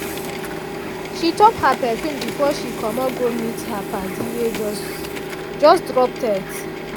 she top her perfume before she comot go meet her padi wey just just drop text.